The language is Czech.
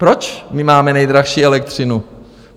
Proč my máme nejdražší elektřinu?